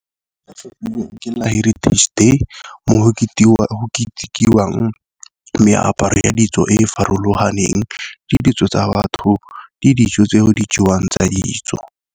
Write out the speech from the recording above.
Ke la heritage day mo go ketekiwang meaparo ya ditso e e farologaneng le ditso tsa batho le dijo tse di jewang tsa ditso.